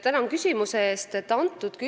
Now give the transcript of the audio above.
Tänan küsimuse eest!